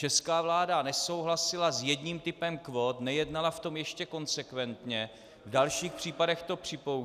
Česká vláda nesouhlasila s jedním typem kvót, nejednala v tom ještě konsekventně, v dalších případech to připouští.